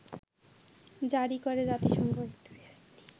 জারি করে জাতিসংঘ